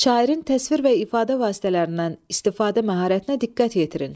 Şairin təsvir və ifadə vasitələrindən istifadə məharətinə diqqət yetirin.